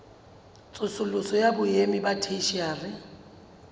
tsosoloso ya boemo ba theshiari